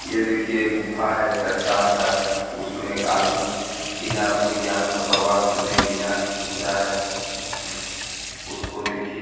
ये देखिए गुफा है चट्टान का उसमें एक आदमी बिना अपनी जान का परवाह करेने बिना घुसा है अ उसको देखिए --